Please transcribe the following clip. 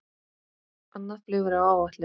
Annað flug er á áætlun